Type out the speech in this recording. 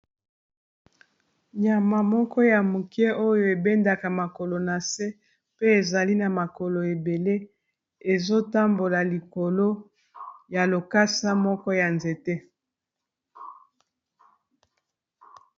Nyama moko ya moke oyo ebendaka makolo na se pe ezali na makolo ebele ezotambola likolo ya lokasa moko ya nzete.